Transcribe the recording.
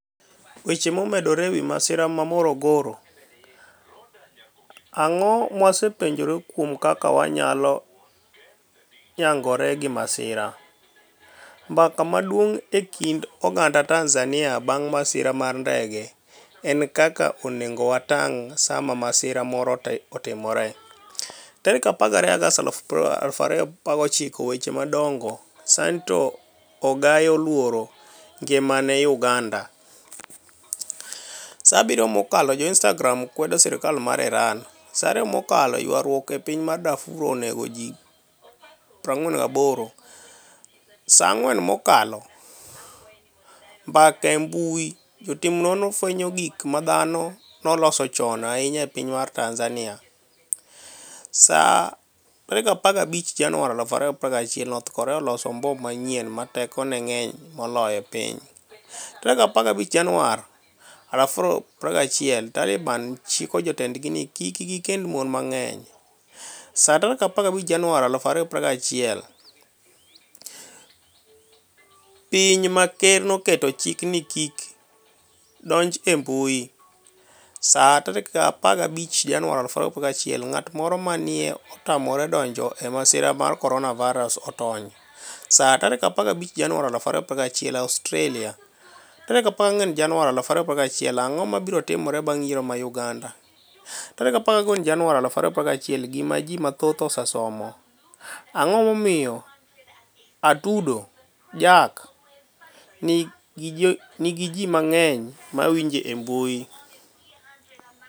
Weche momedore e wi masira mar Morogoro: Anig'o mwasepuonijore kuom kaka waniyalo niyagore gi masira? .Mbaka maduonig' e kinid oganida Tanizaniia banig' masira mar nidege eni kaka oni ego watanig' Saama masira moro otimore. 12 Agost 2019 Weche madonigo Saanito Agai e 'oluoro nigimani e' Uganida Saa 7 mokalo Jo-Inistagram kwedo sirkal mar Irani. Saa 2 mokalo Ywaruok e piniy Darfur oni ego ji 48Saa 4 mokalo .Mbaka e mbui Jotim noniro fweniyo gik ma dhano noloso choni ahiniya e piniy Tanizaniia. Saa 15 Janiuar 2021 north Korea oloso mbom maniyieni 'ma tekoni e nig'eniy moloyo e piniy . 15 Janiuar 2021 Talibani chiko jotenidgi nii kik gikenid moni manig'eniy. Saa 15 Janiuar 2021 Piniy ma ker noketo chik nii ji kik donij e mbui . Saa 15 Janiuar 2021 nig'at moro ma ni e otamore donij e masira mar koroniavirus otoniy . Saa 15 Janiuar 2021 Australia 14 Janiuar 2021 Anig'o mabiro timore banig' yiero mar Uganida? 14 Janiuar 2021 Gima Ji mathoth Osesomo . Anig'o momiyo Atudo jack niigi ji manig'eniy ma winije e e mbui?